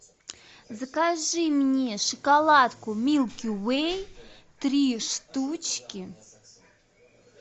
закажи мне шоколадку милки вей три штучки